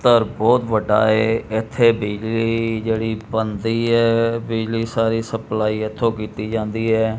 ਤਰ ਬੋਹੁਤ ਵੱਡਾ ਹੈ ਏੱਥੇ ਬਿਜਲੀ ਜੇਹੜੀ ਬਨਦੀ ਹੈ ਬਿਜਲੀ ਸਾਰੀ ਸਪਲਾਈ ਏੱਥੋਂ ਕੀਤੀ ਜਾਂਦੀ ਹੈ।